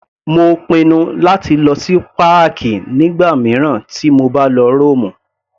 Mo pinnu láti lọ sí páàkì nígbà mìíràn tí mo bá lọ Rómù.